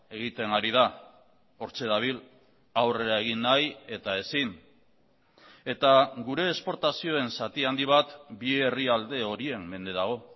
egiten ari da hortxe dabil aurrera egin nahi eta ezin eta gure esportazioen zati handi bat bi herrialde horien mende dago